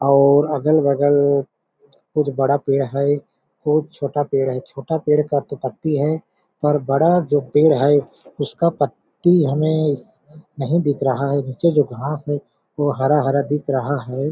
और अगल-बगल कुछ बड़ा पेड़ है कुछ छोटा पेड़ है छोटा पेड़ का तो पत्ती है पर बड़ा जो पेड़ है उसका पत्ती है इस नहीं दिख रहा है नीचे जो घास है वो हरा-हरा दिखा रहा हैं ।